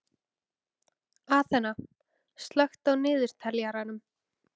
Aþena, slökktu á niðurteljaranum.